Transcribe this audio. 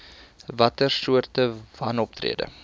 watter soorte wanoptrede